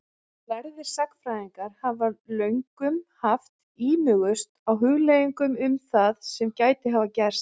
Lærðir sagnfræðingar hafa löngum haft ímugust á hugleiðingum um það sem gæti hafa gerst.